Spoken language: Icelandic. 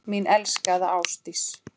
Mín elskaða Ásdís.